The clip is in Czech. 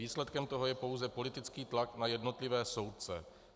Výsledkem toho je pouze politický tlak na jednotlivé soudce.